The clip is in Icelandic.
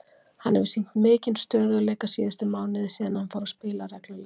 Hann hefur sýnt mikinn stöðugleika síðustu mánuði síðan hann fór að spila reglulega.